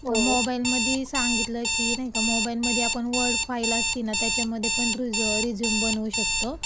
मोबाईलमध्ये सांगितलं की नाही का, मोबाईलमध्ये वर्ड फाइल असती ना त्याच्यामध्ये पण आपण रिझ्यूम बनवू शकतो.